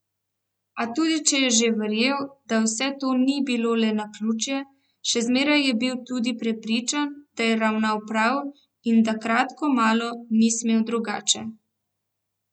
A tudi če je že verjel, da vse to ni bilo le naključje, še zmeraj je bil tudi prepričan, da je ravnal prav in da kratko malo ni smel drugače.